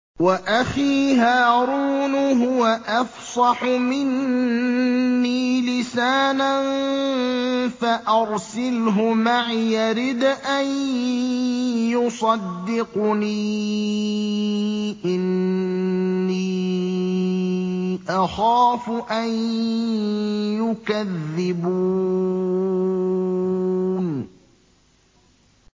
وَأَخِي هَارُونُ هُوَ أَفْصَحُ مِنِّي لِسَانًا فَأَرْسِلْهُ مَعِيَ رِدْءًا يُصَدِّقُنِي ۖ إِنِّي أَخَافُ أَن يُكَذِّبُونِ